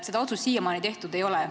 Seda otsust siiamaani tehtud ei ole.